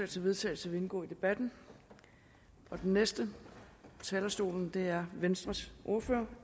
til vedtagelse vil indgå i debatten den næste på talerstolen er venstres ordfører